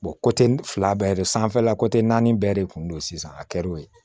fila bɛɛ de sanfɛla naani bɛɛ de kun don sisan a kɛr'o ye